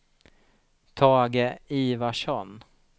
Tage Ivarsson